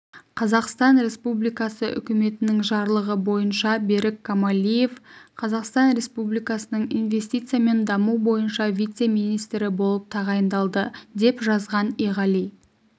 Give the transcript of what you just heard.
қазақстан республикасы үкіметінің жарлығы бойынша берік камалиев қазақстан республикасының инвестиция мен даму бойынша вице-министрі болып тағайындалды деп жазған иғали